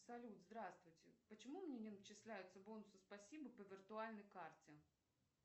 салют здравствуйте почему мне не начисляются бонусы спасибо по виртуальной карте